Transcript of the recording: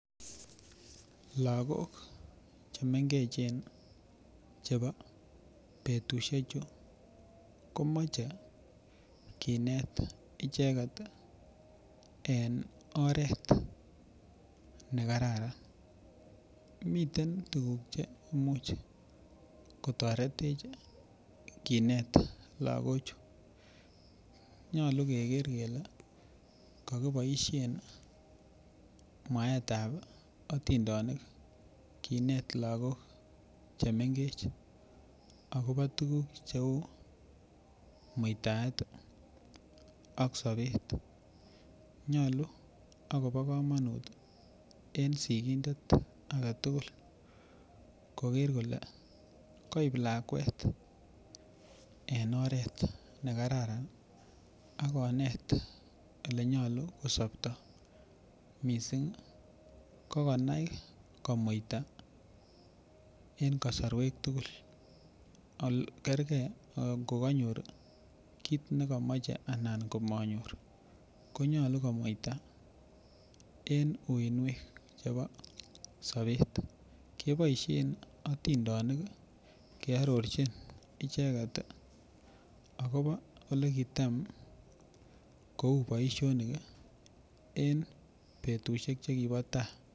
Lagok chemengechen chebo betusiechu komoche kinet icheket en oret nekararan, miten tuguk che imuch kotoretech kinet lagochu, nyolu keker kele kokiboisien mwaetab atindenik kinet lagok chemengech akopo tuguk cheu muitaet ii ak sobet nyolu akopo kamanut en sigindet agetugul koker kole koip lakwet en oret nekararan ii akonet olenyolu kosoptoo missing ii kokonai komuita en kasorwek tugul kerkei kokonyor kit nekomoche alan komonyor konyolu komuita en uinwek chebo sobet keboisien atindenik kearorchin icheket akopo olekitam kou boisionik ii en betusiek chekibo taa.